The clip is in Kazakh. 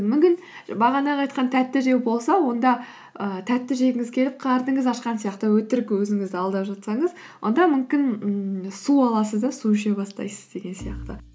мүмкін бағанағы айтқан тәтті жеу болса онда ііі тәтті жегіңіз келіп қарныңыз ашқан сияқты өтірік өзіңізді алдап жатсаңыз онда мүмкін ммм су аласыз да су іше бастайсыз деген сияқты